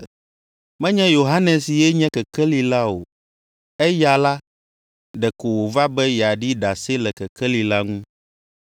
Menye Yohanes ye nye kekeli la o. Eya la, ɖeko wòva be yeaɖi ɖase le kekeli la ŋu.